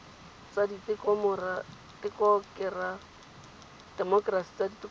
tsa temokerasi tsa ditokololo tsa